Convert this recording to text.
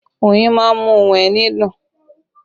Oyin má ń mú ohùn ẹni dùn